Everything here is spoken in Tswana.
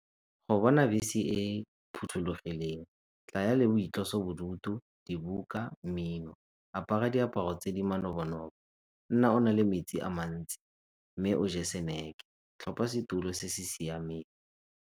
Go bona bese e e phothulogileng tlaya le boitlosobodutu, dibuka, mmino, apara diaparo tse di manobo-nobo, nna o na le metsi a mantsi mme o je snack-e, tlhopha setulo se se siameng.